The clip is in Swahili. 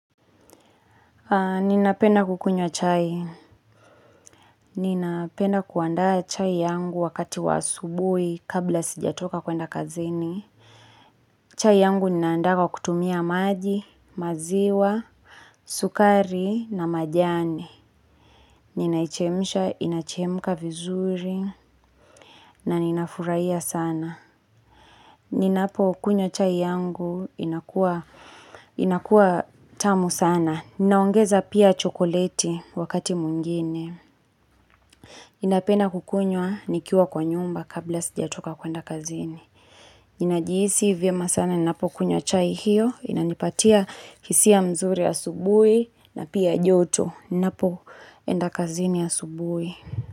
Ninapenda kukunywa chai. Ninapenda kuandaa chai yangu wakati wa asubuhi kabla sijatoka kuenda kazini. Chai yangu ninaanda kwa kutumia maji, maziwa, sukari na majani. Ninaichemisha, inachemka vizuri na ninafuraia sana. Ninapo kunywa chai yangu inakua tamu sana. Ninaongeza pia chokoleti wakati mwingine. Ninapena kukunywa nikiwa kwa nyumba kabla sijatoka kwenda kazini. Ninajihisi vyema sana ninapokunywa chai hiyo. Inanipatia hisia mzuri asubuhi na pia joto. Ni na po ndakazini ya subui.